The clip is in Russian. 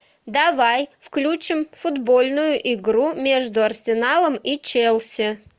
давай включим футбольную игру между арсеналом и челси